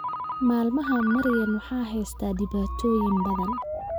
Maalmahan Maryan waxaa heystaa dhibaatooyin badan